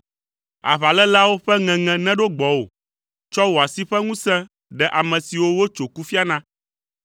Aʋaléleawo ƒe ŋeŋe neɖo gbɔwò, tsɔ wò asi ƒe ŋusẽ ɖe ame siwo wotso kufia na.